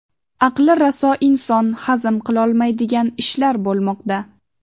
Aqli raso inson hazm qilolmaydigan ishlar bo‘lmoqda.